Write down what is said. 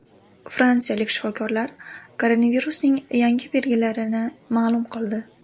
Fransiyalik shifokorlar koronavirusning yangi belgilarini ma’lum qildi.